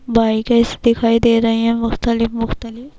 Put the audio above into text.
دکھایی دے رہی ہیں، مختلف مختلف -